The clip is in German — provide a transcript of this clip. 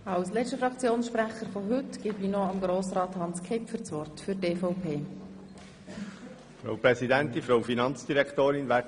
Als letzter Fraktionssprecher für heute spricht Hans Kipfer für die EVP.